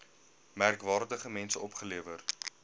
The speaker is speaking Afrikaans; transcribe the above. merkwaardige mense opgelewer